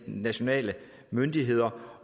nationale myndigheder